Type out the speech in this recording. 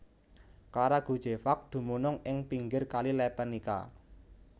Karagujevac dumunung ing pinggir Kali Lepenica